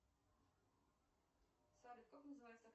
салют как называется